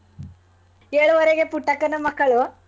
ಏಳೂವರೆಗೆ ಪುಟ್ಟಕ್ಕನ ಮಕ್ಕಳು.